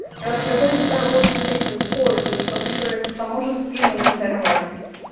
и вот приходится вот с этим с поясом чтоб ещё это к тому же спину не сорвать